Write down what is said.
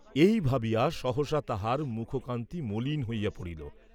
এই ভাবিয়া সহসা তাহার মুখকান্তি মলিন হইয়া পড়িল।